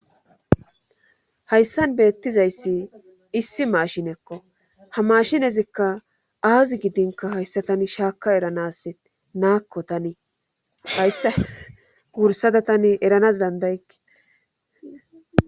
hayssan beettizayssi issi maashinekko ha mashinezikka aazi gidinka hayssa tani shaaka eranas naakko tani hayssa wursada tani eranas dandayekke